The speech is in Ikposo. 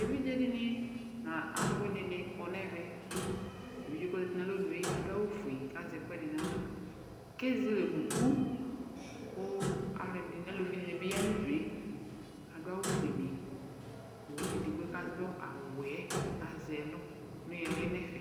Eviɖze dini n'alʋwini kɔ n'ɛvɛ Evidze k'ɔzeti nalɔnue adʋ awʋ fue kazɛ ɛkuɛdi naɣla, kezele unuku kʋ alʋɛdini, aluvi dini bi ya n'udue, adʋ awʋ fueni kʋ edigbo yɛ k'adʋ awʋ wɛ azɛ' lʋ n'ihili nɛfɛ